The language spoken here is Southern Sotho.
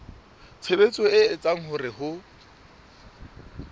tshebetso e etsang hore ho